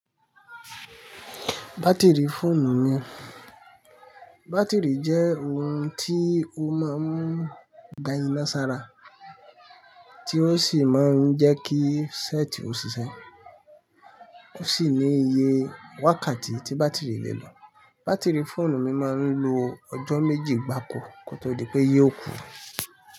Bátìrì fóònù mi. Bátìrì jẹ́ ohun tí ó máa ń gba iná sára, tí ó sì máa ń jẹ́ kí sẹ́ẹ̀tì ó ṣiṣẹ́. Ó sì ní iye wákàtí tí bátìrì le lò Bátìrì fóònù mi máa ń lo ọjọ́ méjì gbáko kó tó di pé yóò kú.